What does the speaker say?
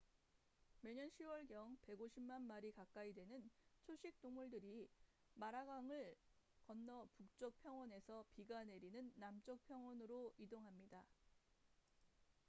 매년 10월경 150만 마리 가까이 되는 초식동물들이 마라강을 건너 북쪽 평원에서 비가 내리는 남쪽 평원으로 이동합니다